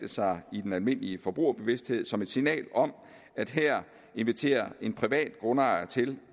sig i den almindelige forbrugerbevidsthed som et signal om at her inviterer en privat grundejer til